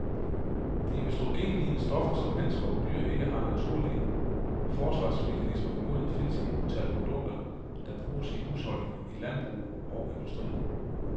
De østrogenlignende stoffer, som mennesker og dyr ikke har naturlige forsvarsmekanismer imod, findes i utallige produkter, der bruges i husholdninger, i landbrug og industri.